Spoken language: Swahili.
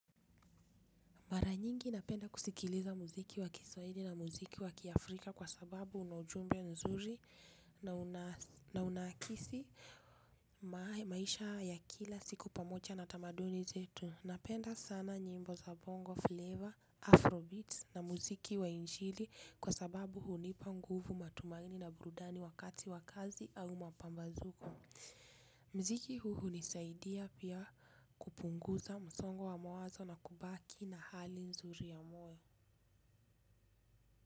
Mara nyingi napenda kusikiliza mziki wa kiswahili na mziki wa kiafrika kwa sababu una ujumbe nzuri na unakisi maisha ya kila siku pamoja na tamaduni zetu. Napenda sana nyimbo za bongo flavor, afrobeats na mziki wa injili kwa sababu hunipa nguvu matumaini na burudani wakati wa kazi au mapambazuko. Mziki huu hunisaidia pia kupunguza msongo wa mawazo na kubaki na hali nzuri ya moyo.